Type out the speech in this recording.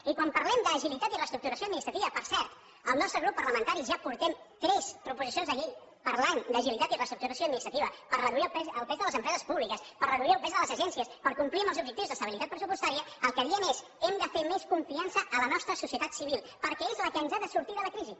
i quan parlem d’agilitat i reestructuració administrativa per cert al nostre grup parlamentari ja portem tres proposicions de llei parlant d’agilitat i reestructuració administrativa per reduir el pes de les empreses públiques per reduir el pes de les agències per complir amb els objectius d’estabilitat pressupostària el que diem és hem de fer més confiança a la nostra societat civil perquè és la que ens ha de fer sortir de la crisi